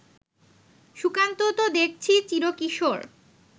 সুকান্ত তো দেখছি চিরকিশোর